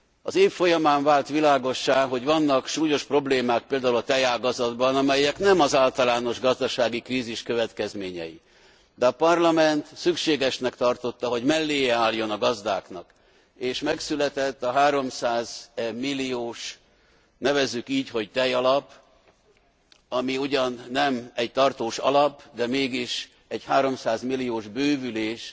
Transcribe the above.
Az év folyamán vált világossá, hogy vannak súlyos problémák például a tejágazatban, amelyek nem az általános gazdasági krízis következményei, de a Parlament szükségesnek tartotta, hogy melléje álljon a gazdáknak, és megszületett a 300 milliós, nevezzük így, hogy tejalap, ami ugyan nem egy tartós alap, de mégis egy 300 milliós bővülés.